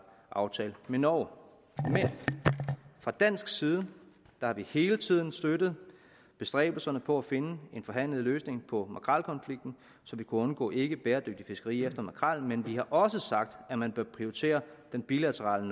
aftale med norge men fra dansk side har vi hele tiden støttet bestræbelserne på at finde en forhandlet løsning på makrelkonflikten så vi kunne undgå ikkebæredygtigt fiskeri efter makrel men vi har også sagt at man bør prioritere den bilaterale